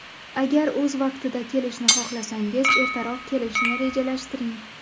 Agar o‘z vaqtida kelishni xohlasangiz, ertaroq kelishni rejalashtiring.